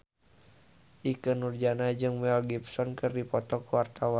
Ikke Nurjanah jeung Mel Gibson keur dipoto ku wartawan